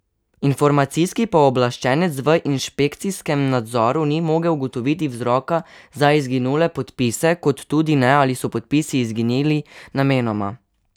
Informacijski pooblaščenec v inšpekcijskem nadzoru ni mogel ugotoviti vzroka za izginule podpise, kot tudi ne, ali so podpisi izginili namenoma.